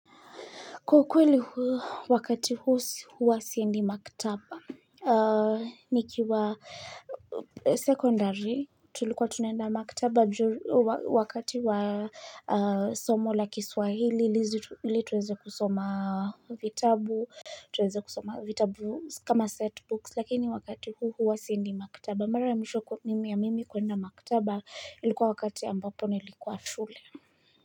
Kwa ukweli wakati huu huwa siendi maktaba. Nikiwa secondary, tulikuwa tunenda maktaba wakati wa somo la kiswahili, ili tuweze kusoma vitabu. Tuweze kusoma vitabu kama setbooks, lakini wakati huu huwa siendi maktaba. Mara ya mwisho mimi ya mimi kuenda maktaba, ilikuwa wakati ambapo nilikuwa shule.